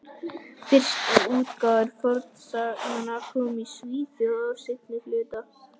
Fyrstu útgáfur fornsagnanna komu í Svíþjóð á seinna hluta